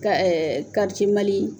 Ka Mali